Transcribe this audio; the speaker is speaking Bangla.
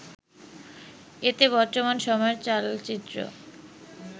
এতে বর্তমান সময়ের চালচিত্র